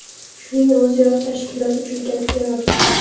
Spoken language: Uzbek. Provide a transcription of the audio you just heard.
Shuning o‘ziyoq tashkilot uchun katta yordam.